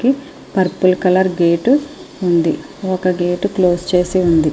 Purple colour gate ఉంది ఒక gate close చేసి ఉంది.